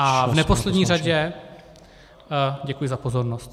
A v neposlední řadě děkuji za pozornost.